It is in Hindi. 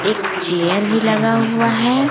एक चेयर भी लगा हुआ है।